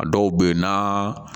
A dɔw bɛ yen n'a